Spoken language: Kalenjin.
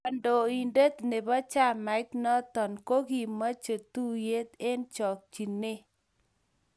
kandointet ne bo chamait noto ko kimiche tuye eng chokchinee